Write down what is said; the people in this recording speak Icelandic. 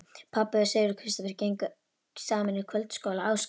Pabbi og Sigurður Kristófer gengu saman í kvöldskóla Ásgríms